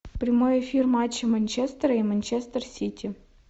прямой эфир матча манчестера и манчестер сити